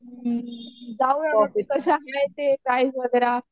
हं जाऊया प्राईस वगैरे